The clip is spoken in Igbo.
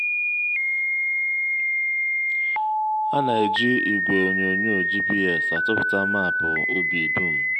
a na-eji igwe onyonyo gps atụpụta maapụ ubi dum.